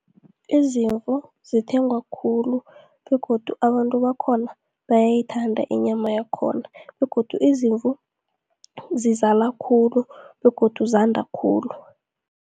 Izimvu zithengwa khulu begodu abantu bakhona bayayithanda inyama yakhona. Begodu izimvu zizala khulu begodu zanda khulu.